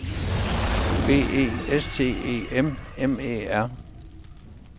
B E S T E M M E R